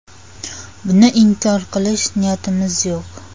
Buni inkor qilish niyatimiz yo‘q.